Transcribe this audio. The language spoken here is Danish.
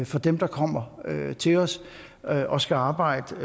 for dem der kommer til os og skal arbejde